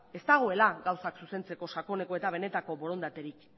ez dagoela gauzak zuzentzeko sakoneko eta benetako borondaterik